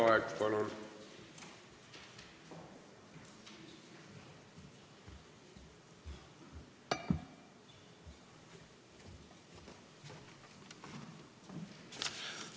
Raivo Aeg, palun!